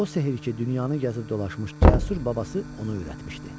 O sehir ki, dünyanı gəzib dolaşmış cəsur babası ona öyrətmişdi.